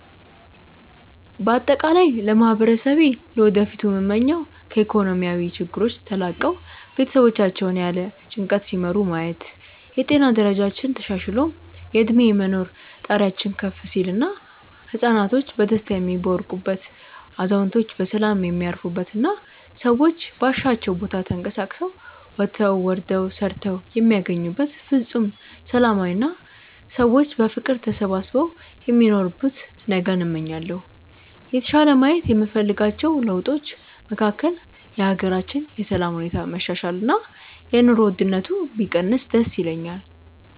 በአጠቃላይ ለማህበረሰቤ ለወደፊቱ ምመኘው ከኢኮኖሚያዊ ችግሮች ተላቀው ቤተሰቦቻቸውን ያለ ጭንቀት ሲመሩ ማየት፣ የጤና ደረጃችን ተሻሽሎ የእድሜ የመኖር ጣሪያችን ከፍ ሲል እና ህፃናቶች በደስታ የሚቦርቁበት፣ አዛውንቶች በሰላም የሚያርፉበት እና ሰዎች ባሻቸው ቦታ ተንቀሳቅሰው ወጥተው ወርደው ሰርተው የሚያገኙበት ፍፁም ሰላማዊ አና ሰዎች በፍቅር ተሳስበው የሚኖሩበትን ነገን እመኛለሁ። የተሻለ ማየት የምፈልጋቸው ለውጦች መካከል የሀገራችንን የሰላም ሁኔታ መሻሻል እና የኑሮ ውድነቱ ቢቀንስ ደስ ይለኛል።